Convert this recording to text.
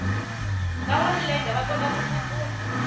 vanwa milenge va kotaku tsutsuma